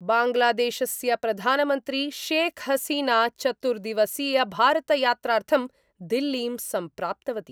बांग्लादेशस्य प्रधानमन्त्री शेख हसीना चतुर्दिवसीय भारतयात्रार्थं दिल्लीं सम्प्राप्तवती।